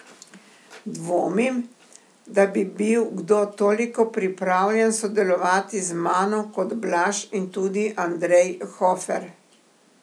Dvomim, da bi bil kdo toliko pripravljen sodelovati z mano kot Blaž in tudi Andrej Hofer.